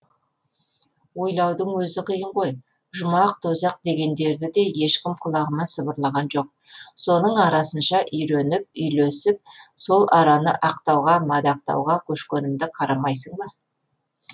ойлаудың өзі қиын ғой жұмақ тозақ дегендерді де ешкім құлағыма сыбырлаған жоқ соның арасынша үйреніп үйлесіп сол араны ақтауға мадақтауға көшкенімді қарамайсың ба